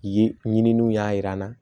Ye ɲininiw y'a yira n na